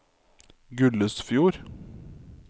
Gullesfjord